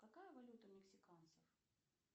какая валюта у мексиканцев